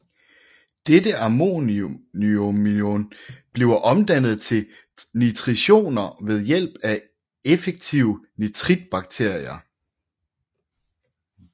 Dette ammoniumion bliver omdannet til nitritioner ved hjælp af effektive nitritbakterier